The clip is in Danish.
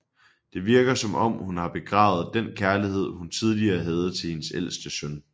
Det virker som om hun har begravet den kærlighed hun tidligere havde til hendes ælste søn